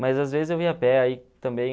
Mas, às vezes, eu ia a pé ai, também